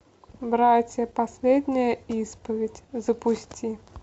братья последняя исповедь запусти